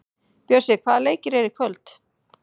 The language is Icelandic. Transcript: Bjössi, hvaða leikir eru í kvöld?